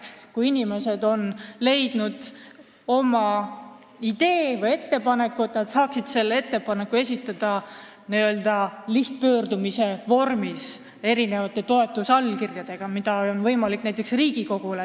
Kui inimestel on tekkinud idee või ettepanek, siis võiksid nad saada selle esitada lihtpöördumise vormis vajaliku arvu toetusallkirjadega näiteks Riigikogule.